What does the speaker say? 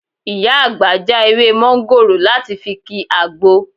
Ìyá àgbà já ewé mọ́ńgòrò láti fi ki àgbo